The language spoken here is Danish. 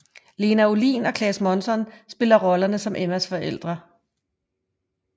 Lena Olin og Claes Månsson spiller rollerne som Emmas forældre